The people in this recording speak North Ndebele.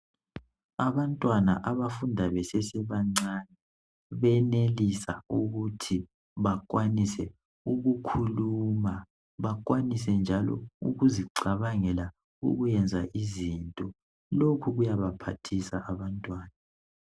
Abantwana abafunda besesebancane benelisa ukuthi bakwanise ukukhuluma, bakwanise njalo ukuzicabangela ukwenza izinto. Lokhu kuyabaphathisa abantwana.